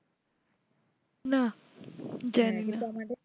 না জানি